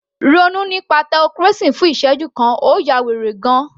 Ronú nípa theocracy fún ìsẹ́jú kan, ó ya wèrè gan -an